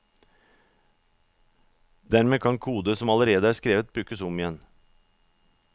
Dermed kan kode som allerede er skrevet brukes om igjen.